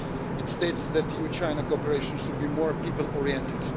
It states that EU-China cooperation should be more people oriented.